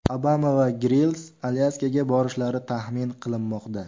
Obama va Grills Alyaskaga borishlari taxmin qilinmoqda.